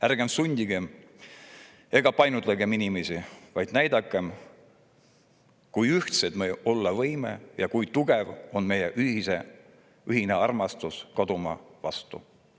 Ärgem sundigem ega painutagem inimesi, vaid näidakem, kui ühtsed me olla võime ja kui tugev on meie ühine armastus kodumaa vastu.